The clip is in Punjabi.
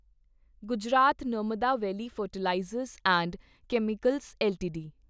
Gujarat Narmada valley fertilizers and chemicals LTD